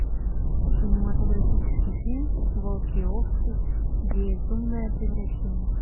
кинематографический фильм волки и овцы безумное превращение